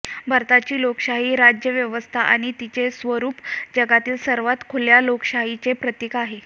भारताची लोकशाही राज्यव्यवस्था आणि तिचे स्वरूप जगातील सर्वात खुल्या लोकशाहीचे प्रतीक आहे